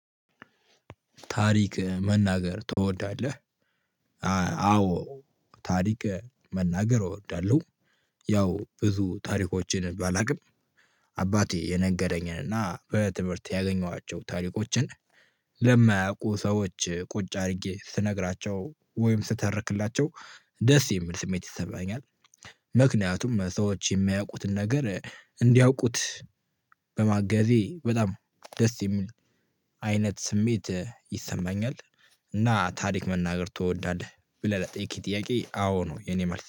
ታሪክ መናገር ትወዳለህ? አዎ ታሪክ መናገር እወዳለሁ። ያው ብዙ ታሪኮችን ባላውቅም አባቴ የነገረኝን እና በትምህርት ያገኘኋቸው ታሪኮችን ለማያውቁ ሰዎች ቁጭ አድርጌ ስነግራቸው ወይም ስትረክላቸው ደስ የሚል ስሜት ይሰማኛል። ምክንያቱም ሰዎች የሚያውቁትን ነገር እንዲያውቁት በማገዜ በጣም ደስ የሚል አይነት ስሜት ይሰማኛል። እና ታሪክ መናገር ትወዳለህ ብለህ ለጠየክከኝ ጥያቄ አዎ ነው የኔ መልስ።